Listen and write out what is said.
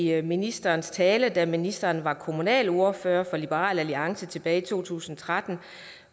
en af ministerens taler altså da ministeren var kommunalordfører for liberal alliance tilbage i to tusind og tretten